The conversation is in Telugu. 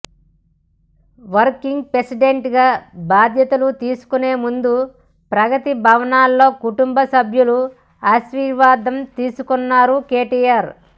వర్కింగ్ ప్రెసిడెంట్ గా బాధ్యతలు తీసుకునేముందు ప్రగతి భవన్లో కుటుంబ సభ్యుల ఆశీర్వాదం తీసుకున్నారు కేటీఆర్